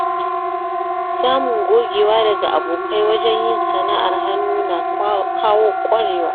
Samun gogewa daga abokai wajen yin sana’ar hannu na kawo ƙwarewa.